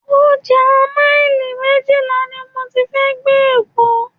Ọjà maili méjìlá ni mo ti fẹ́ gbé Ẹ̀fọ́.